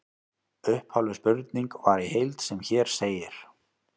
Upphafleg spurning var í heild sem hér segir: